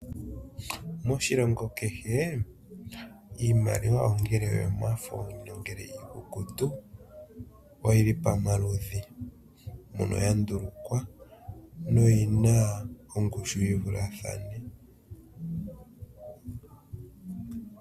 Moshilongo kehe, iimaliwa ongele oyomafo, nongele iiikukutu, oyili pamaludhi, mono ya ndulukwa, noyina ongushu yivulathane.